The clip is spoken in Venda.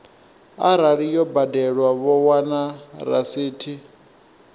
arali yo badelwa vho wana rasithi